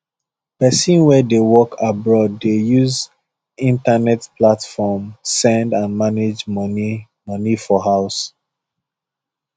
people wey dey work abroad dey use internet platform send and manage money money for house